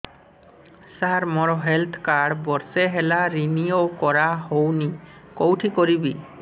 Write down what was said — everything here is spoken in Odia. ସାର ମୋର ହେଲ୍ଥ କାର୍ଡ ବର୍ଷେ ହେଲା ରିନିଓ କରା ହଉନି କଉଠି କରିବି